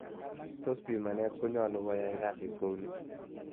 Tos pimanet konyalu koyai kazit kou ne